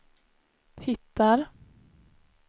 hittar